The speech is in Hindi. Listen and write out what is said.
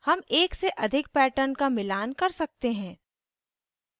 हम एक से अधिक patterns का मिलान कर सकते हैं